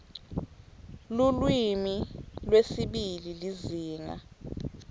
lulwimi lwesibili lizinga